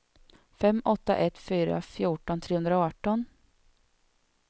fem åtta ett fyra fjorton trehundraarton